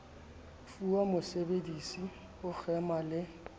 fuwang mosebedisi ho kgema le